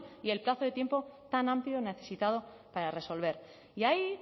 y el plazo de tiempo tan amplio necesitado para resolver y ahí